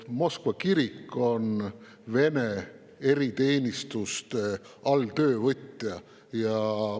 Moskva kirik on Vene eriteenistuste alltöövõtja.